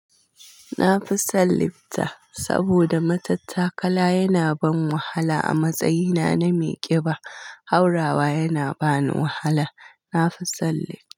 Na fi son lifta saboda matattakala yana ban wahala a matsayina na mai ƙiba. Haurawa yana ba ni wahala. Na fi son lifta.